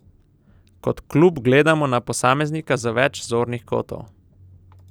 Kot klub gledamo na posameznika z več zornih kotov.